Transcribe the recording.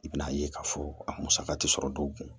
I bɛn'a ye k'a fɔ a musaka tɛ sɔrɔ dɔw kun